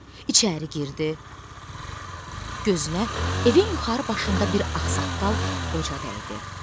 İçəri girdi, gözünə evin yuxarı başında bir ağsaqqal qoca dəydi.